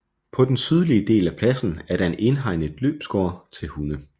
På den sydlige del af pladsen er der en indhegnet løbegård til hunde